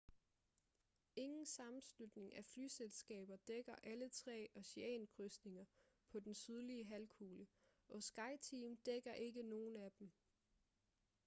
ingen sammenslutning af flyselskaber dækker alle tre oceankrydsninger på den sydlige halvkugle og skyteam dækker ikke nogen af dem